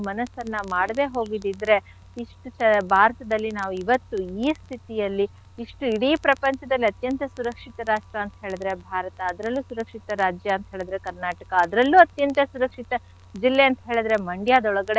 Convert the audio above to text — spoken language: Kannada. ಮನಸ್ಸನ್ನ ಮಾಡ್ದೆ ಹೋಗಿದ್ದಿದ್ರೆ ಇಷ್ಟು ಭಾರತದಲ್ಲಿ ನಾವ್ ಇವತ್ತು ಈ ಸ್ಥಿತಿಯಲ್ಲಿ ಇಷ್ಟು ಇಡೀ ಪ್ರಪಂಚದಲ್ಲಿ ಅತ್ಯಂತ ಸುರಕ್ಷಿತ ರಾಷ್ಟ್ರ ಅಂತ್ ಹೇಳಿದ್ರೆ ಭಾರತ ಅದ್ರಲ್ಲು ಸುರಕ್ಷಿತ ರಾಜ್ಯ ಅಂತ್ ಹೇಳಿದ್ರೆ Karnataka ಅದ್ರಲ್ಲು ಅತ್ಯಂತ ಸುರಕ್ಷಿತ ಜಿಲ್ಲೆ ಅಂತ್ ಹೇಳಿದ್ರೆ Mandya ದೊಳಗಡೆ,